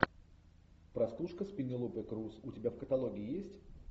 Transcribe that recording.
простушка с пенелопой крус у тебя в каталоге есть